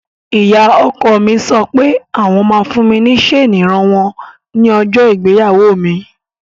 Ìyá ọkọ mi sọ pé àwọn ma fún mi ní ṣeni ìran wọn ní ọjọ́ ìgbéyàwó mi.